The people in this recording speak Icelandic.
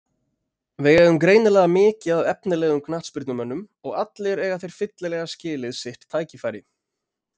Við eigum greinilega mikið af efnilegum knattspyrnumönnum og allir eiga þeir fyllilega skilið sitt tækifæri.